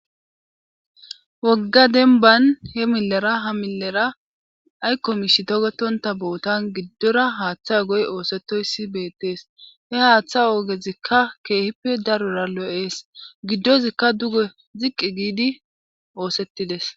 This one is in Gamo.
wogga denban he millera ha millera aykko mish togetonta bootan giddora haaththa goy oosetoyssi beettees he haaththa oogezikka keehippe daroora lo7ees giddozikka duge ziqqi giidi oosettides